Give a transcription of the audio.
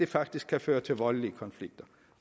faktisk føre til voldelige konflikter